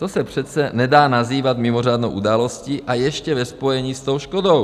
To se přece nedá nazývat mimořádnou událostí, a ještě ve spojení s tou škodou.